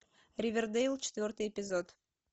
ривердейл четвертый эпизод